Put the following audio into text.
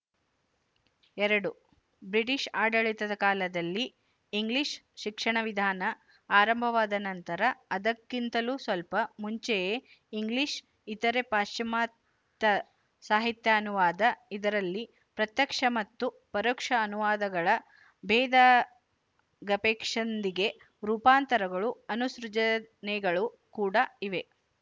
ಎರಡು ಬ್ರಿಟಿಶ ಆಡಳಿತದ ಕಾಲದಲ್ಲಿ ಇಂಗ್ಲಿಶ ಶಿಕ್ಷಣವಿಧಾನ ಆರಂಭವಾದ ನಂತರ ಅದಕ್ಕಿಂತಲೂ ಸ್ವಲ್ಪ ಮುಂಚೆಯೇ ಇಂಗ್ಲಿಶ ಇತರೆ ಪಾಶಚಾತ್ಯ ಸಾಹಿತ್ಯಾನುವಾದ ಇದರಲ್ಲಿ ಪ್ರತ್ಯಕ್ಷ ಮತ್ತು ಪರೋಕ್ಷ ಅನುವಾದಗಳ ಭೇದಗಪೇಕ್ಷಿಂದಿಗೆ ರೂಪಾಂತರಗಳು ಅನುಸೃಜನೆಗಳು ಕೂಡಾ ಇವೆ